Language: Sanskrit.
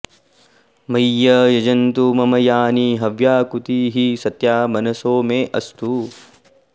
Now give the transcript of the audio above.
मह्यं॑ यजन्तु॒ मम॒ यानि॑ ह॒व्याकू॑तिः स॒त्या मन॑सो मे अस्तु